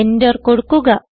enter കൊടുക്കുക